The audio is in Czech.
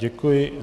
Děkuji.